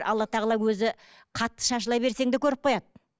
алла тағала өзі қатты шашыла берсең де көріп қояды